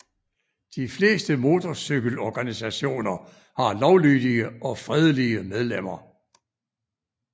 De fleste motorcykelorganisationer har lovlydige og fredelige medlemmer